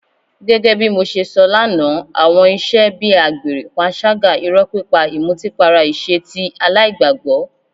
Gẹ́gẹ́ bí mo ṣe sọ lánàá, àwọn ìṣe bí àgbèrè, panṣágà, irọ́ pípa, ìmutípara ìṣe tí aláìgbàgbọ́.